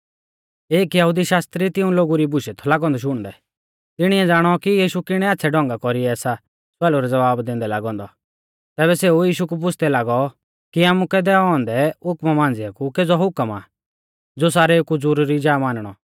एक यहुदी शास्त्री तिऊं लोगु री बुशै थौ लागौ औन्दौ शुणदै तिणिऐ ज़ाणौ कि यीशु किणै आच़्छ़ै ढौंगा कौरीऐ सा स्वालु रै ज़वाबा दैंदै लागौ औन्दौ तैबै सेऊ यीशु कु पुछ़दै लागौ कि आमुकै दैऔ औन्दै हुकमा मांझ़िऐ कु केज़ौ हुकम आ ज़ो सारेउ कु ज़रुरी जा मानणौ